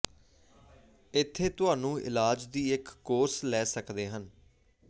ਇੱਥੇ ਤੁਹਾਨੂੰ ਇਲਾਜ ਦੀ ਇੱਕ ਕੋਰਸ ਲੈ ਸਕਦੇ ਹਨ